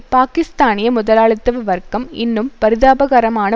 பாக்கிஸ்தானிய முதலாளித்துவ வர்க்கம் இன்னும் பரிதாபகரமான